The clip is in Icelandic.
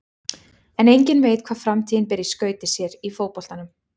En enginn veit hvað framtíðin ber í skauti sér í fótboltanum.